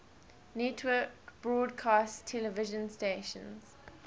network broadcast television stations